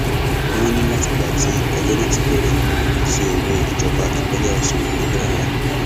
wọn ní látìgbà tí ẹjọ náà ti bẹrẹ kò sí owó ìjọba ìpínlẹ ọṣun níbẹ rárá